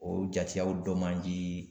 O jateyaw dɔ man di.